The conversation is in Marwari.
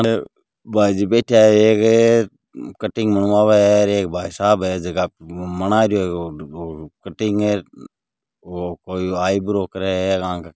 भाईजी बैठा है एक कटिंग बनवाव है एक भाईसाब है झक बनारो है कटिंग कोई आइब्रा कर आक।